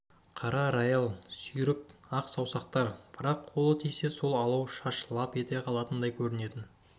қара рояль сүйрік қана ақ саусақтар бірақ қолы тисе сол алау шаш лап ете қалатындай көрінетін